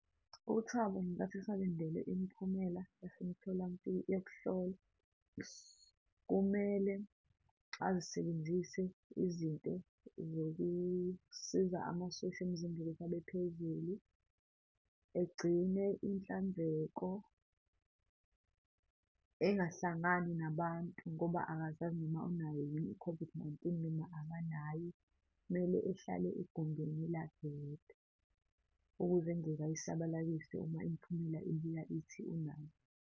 UThabo ngenkathi esalindele imiphumela yokuhlolwa, kumele azisebenzise izinto zokusiza amasosha emzimbeni abephezulu, egcine inhlanzeko, engahlangani nabantu, ngoba akazazi noma unayo yini i-COVID-19 noma akanayo. Kumele ehlale egumbini lakhe yedwa, ukuze engeke ayisabalalise uma imiphumela ibuya ithi unayo.